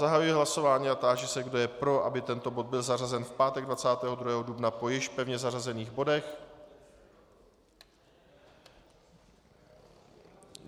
Zahajuji hlasování a táži se, kdo je pro, aby tento bod byl zařazen v pátek 22. dubna po již pevně zařazených bodech.